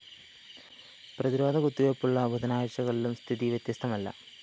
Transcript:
പ്രതിരോധ കുത്തിവെപ്പുള്ള ബുധനാഴ്ചകളിലും സ്ഥിതി വ്യത്യസ്തമല്ല